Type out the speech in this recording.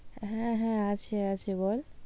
হ্যাঁ হ্যাঁ আছে আছে বল।